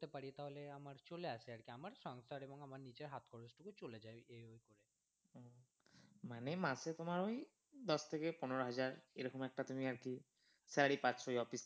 করতে পারি তাহলে আমার চলে আসে আর কি আমার সংসার এবং আমার নিজের হাত খরচ টুকু চলে যায় এই ওই করে। মানে মাসে তোমার ওই দশ থেকে পনেরো হাজার এরকম একটা তুমি আর কি salary পাচ্ছ ওই office থেকে ।